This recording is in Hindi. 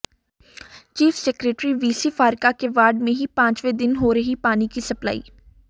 चीफ सेक्रेटरी वीसी फारका के वार्ड में ही पांचवें दिन हो रही पानी की सप्लाई